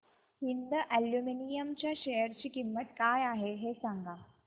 Hind aluminium च्या share ची किंमत काय आहे हे सांगा